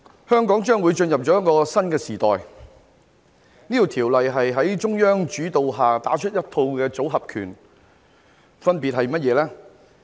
香港將會進入一個新時代，《條例草案》是在中央主導下打出的一套"組合拳"的一部分，分別是甚麼呢？